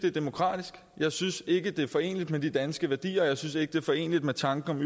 er demokratisk jeg synes ikke det er foreneligt med de danske værdier og jeg synes ikke det er foreneligt med tanken